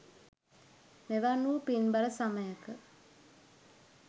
මෙවන් වූ පින්බර සමයක